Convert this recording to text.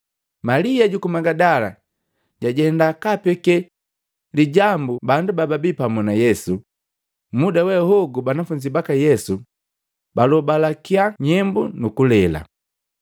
Malia juku Magidala jajenda kaapeke lijambu bandu bababii pamu na Yesu, muda we hogu banafunzi baka Yesu, balobalakya nyembu nu kulela.